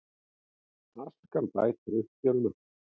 Askan bætir uppskeruna